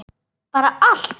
Bara allt.